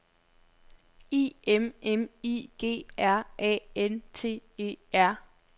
I M M I G R A N T E R